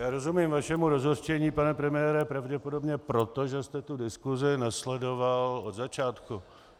Já rozumím vašemu rozhořčení, pane premiére, pravděpodobně proto, že jste tu diskusi nesledoval od začátku.